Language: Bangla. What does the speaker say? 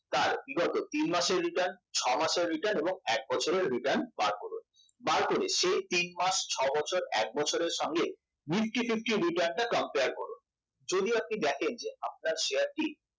তার return করুন তিন মাসের return ছয় মাসের return এবং এক বছরের return বার করুন বার করে সে তিন মাস ছ বছর এক বছরের সঙ্গে nifty fifty return টা compare করুন যদি আপনি দেখেন আপনার শেয়ারটি